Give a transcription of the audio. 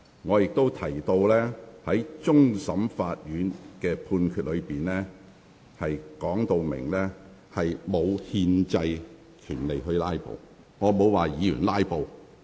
我亦指出，終審法院的判決已述明議員並無憲制權利"拉布"。